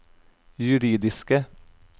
juridiske